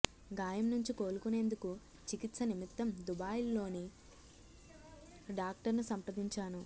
గాయం నుంచి కోలుకునేందుకు చికిత్స నిమిత్తం దుబాయ్లోని డాక్టర్ను సంప్రదించాను